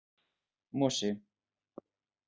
Mosi